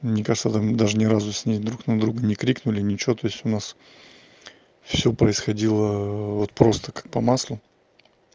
мне кажется там даже ни разу с ней друг на друга не крикнули ничего то есть у нас все происходило вот просто как по маслу